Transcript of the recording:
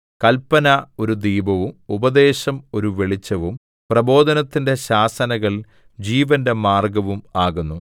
കല്പന ഒരു ദീപവും ഉപദേശം ഒരു വെളിച്ചവും പ്രബോധനത്തിന്റെ ശാസനകൾ ജീവന്റെ മാർഗ്ഗവും ആകുന്നു